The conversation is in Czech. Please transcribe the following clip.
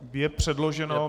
Je předloženo.